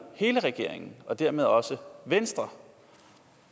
hele regeringen og dermed også venstre